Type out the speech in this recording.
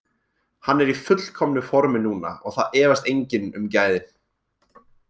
Hann er í fullkomnu formi núna og það efast enginn um gæðin.